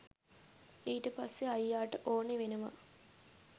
ඊට පස්සේ අයියාට ඕනෙ වෙනවා